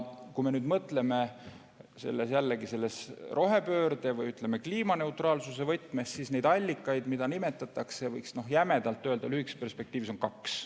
Kui me nüüd mõtleme jällegi rohepöörde või kliimaneutraalsuse võtmes, siis neid allikaid, mida nimetatakse, võiks jämedalt öelda, lühikeses perspektiivis on kaks.